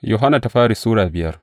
daya Yohanna Sura biyar